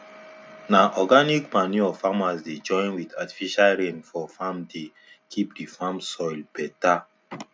na organic manure farmers dey join with artifical rain for farmdey keep the farm soil better